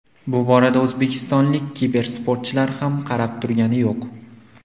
Bu borada o‘zbekistonlik kibersportchilar ham qarab turgani yo‘q.